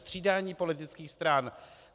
Střídání politických stran?